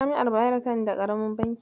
Jami'ar Bayero tan da ƙaramin banki.